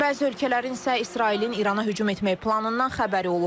Bəzi ölkələrin isə İsrailin İrana hücum etməyi planından xəbəri olub.